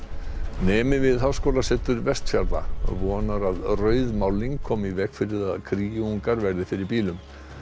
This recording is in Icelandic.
nemi við Háskólasetur Vestfjarða vonar að rauð málning komi í veg fyrir að verði fyrir bílum